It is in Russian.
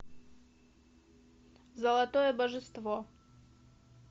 золотое божество